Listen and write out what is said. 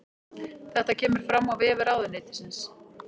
Þetta kemur fram á vef ráðuneytisins